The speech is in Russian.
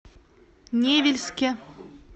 невельске